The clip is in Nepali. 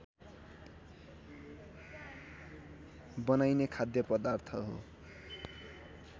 बनाईने खाद्यपदार्थ हो